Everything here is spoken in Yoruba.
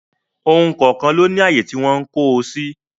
Ohun kọ̀ọ̀kan ló ní àyè tí wọ́n ń kó o sí